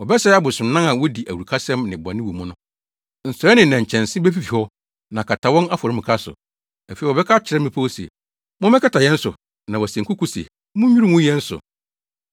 Wɔbɛsɛe abosonnan a wodi awurukasɛm ne bɔne wɔ mu no. Nsɔe ne nnɛnkyɛnse befifi hɔ, na akata wɔn afɔremuka so. Afei wɔbɛka akyerɛ mmepɔw se, “Mommɛkata yɛn so!” na wase nkoko se, “Munnwiriw ngu yɛn so!”